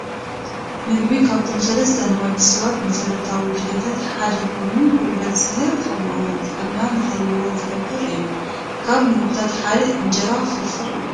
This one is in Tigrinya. ምግቢ ካብቶም 3 ንወዲ ሰብ መሰረታዊ ድልየታት ሓደ ኮይኑ ጉልበት ዝህብ ከምኡ ውን ጥዕና ንኽህልዎ ዝገብር እዩ፡፡ ካብ ምግብታት ሓደ እንጀራ ፍርፍር እዩ፡፡